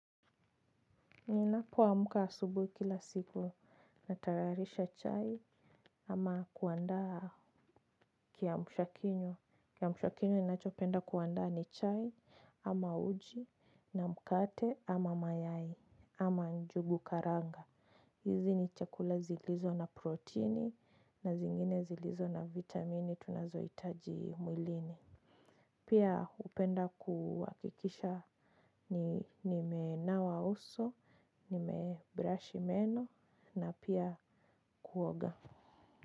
Ninapo amka asubuhi kila siku natayarisha chai ama kuandaa kiamshakinywa. Kiamshakinywa ninachopenda kuandaa ni chai ama uji na mkate ama mayai ama njugu karanga. Hizi ni chakula zilizo na proteini na zingine zilizo na vitamini tunazo hitaji mwilini. Pia hupenda kuhakikisha nimenawa uso, nimebrashi meno na pia kuoga.